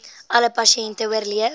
alle pasiënte oorleef